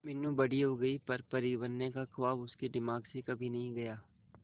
मीनू बड़ी हो गई पर परी बनने का ख्वाब उसके दिमाग से कभी नहीं गया